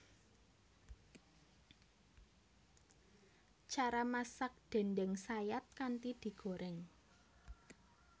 Cara masak déndéng sayat kanthi digoreng